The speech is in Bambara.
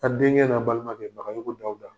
A' denkɛ n'a' balimakɛ Bagayoko Dawuda